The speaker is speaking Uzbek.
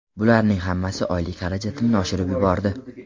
Bularning hammasi oylik xarajatimni oshirib yubordi.